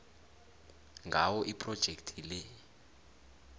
ngawo iphrojekhthi le